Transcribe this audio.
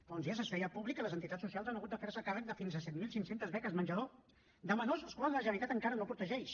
fa uns dies es feia públic que les entitats socials han hagut de fer se càrrec de fins a set mil cinc cents beques menjador de menors escolars que la generalitat encara no protegeix